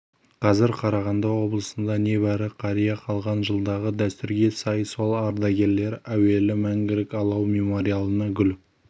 қазір қарағанды облысында небәрі қария қалған жылдағы дәстүрге сай сол ардагерлер әуелі мәңгілік алау мемориалына гүл